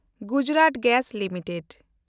Gujarat gas limited